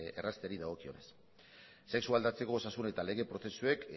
errazteari dagokionez sexu aldatzeko osasun eta lege prozesuek